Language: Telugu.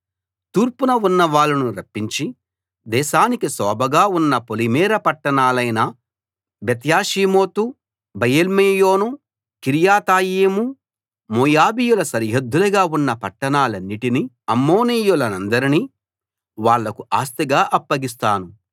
తూర్పున ఉన్నవాళ్ళను రప్పించి దేశానికి శోభగా ఉన్న పొలిమేర పట్టాణాలైన బెత్యేషీమోతు బయల్మెయోను కిర్యతాయిము మోయాబీయుల సరిహద్దులుగా ఉన్న పట్టాణాలన్నిటినీ అమ్మోనీయులనందరినీ వాళ్లకు ఆస్తిగా అప్పగిస్తాను